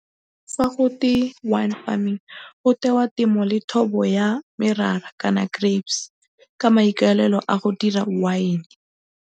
Fa gotwe wine farming go tewa temo le thobo ya merara kana grapes ka maikaelelo a go dira wine.